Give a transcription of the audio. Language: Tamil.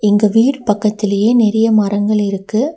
இந்த வீடு பக்கத்துலயே நெறைய மரங்கள் இருக்கு.